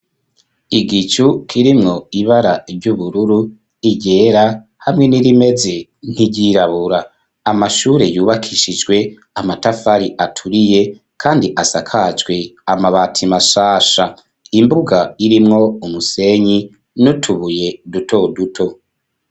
Igicu kirimwo ibara ry'ubururu, iryera hamwe n'irimeze nt'iryirabura amashure yubakishijwe amatafari aturiye kandi asakacwe amabati mashasha imbuga irimwo umusenyi nutubuye duto duto.